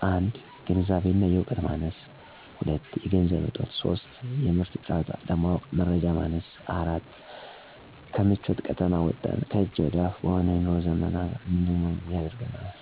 ፩) የግንዛቤ እና የእውቀት ማነስ ስላለ። ፪) የገንዘብ እጦት ስላለ። ፫) የምርቱን ጥራት ለማወቅ የመረጃ ማነስ ስላለ። ፬)ከምቾት ቀጠና ወጥተን ከእጅ ወደ አፍ በሆነበት የኑሮ ዘመን ነገሮችን እንዳንመረምር አድርጎናል።